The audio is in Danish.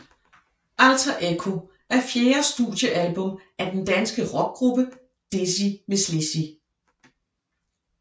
Alter Echo er fjerde studiealbum af den danske rockgruppe Dizzy Mizz Lizzy